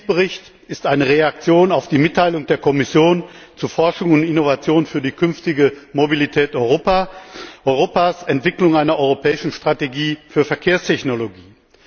Der Initiativbericht ist eine Reaktion auf die Mitteilung der Kommission zu Forschung und Innovation für die künftige Mobilität Europas Entwicklung einer europäischen Strategie für Verkehrstechnologie.